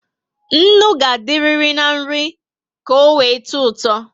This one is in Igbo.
Ńnú ga adiriri na nri eji touto